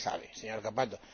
Plenos. Ya se sabe, señor